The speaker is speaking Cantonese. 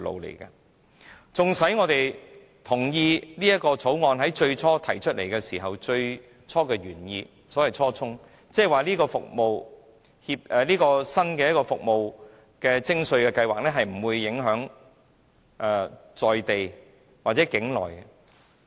所以，縱使我們同意《條例草案》提出的原意，即這個新的服務徵稅計劃，而且當時是不會影響在地或境內的飛機租賃活動。